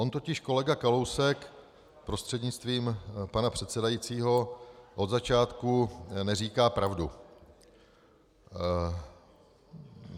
On totiž kolega Kalousek, prostřednictvím pana předsedajícího, od začátku neříká pravdu.